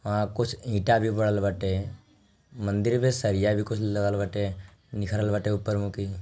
वहां कुछ ईंट भी बनल बाटे मंदिर में सरिया भी कुछ लगल बटे निखरल बटे ऊपर मुकी।